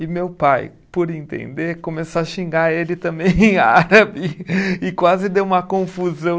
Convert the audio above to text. E meu pai, por entender, começou a xingar ele também em árabe e quase deu uma confusão.